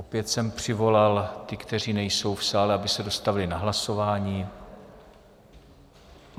Opět jsem přivolal ty, kteří nejsou v sále, aby se dostavili na hlasování.